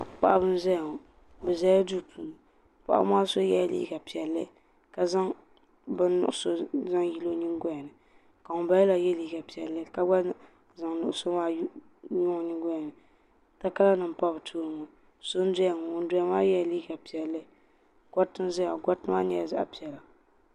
Paɣaba n ʒayaŋɔ. bɛ ʒɛla duu puuni. paɣibi maa so yɛla liiga piɛli. ka zaŋ bin nuɣuso n zaŋ yili ɔ nyin golini. ka ŋun bala maa gba ye liiga piɛli ka gba zaŋ nuɣuso maa n yili ɔ nyiŋgolini. takara nim n pa bɛ tooni ŋɔ so n doya ŋɔ ŋun doya maa yela liiga piɛli, gariti n ʒɛya ŋɔ gariti maa nyala zaɣi piɛla